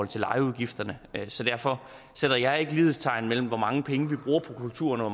til lejeudgifterne så derfor sætter jeg ikke lighedstegn mellem hvor mange penge vi bruger på kulturen og